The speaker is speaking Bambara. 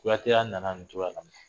Kuatɛya nana nin coya la